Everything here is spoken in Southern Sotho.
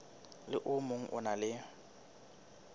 le o mong o na